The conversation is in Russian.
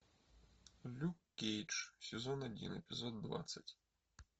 люк кейдж сезон один эпизод двадцать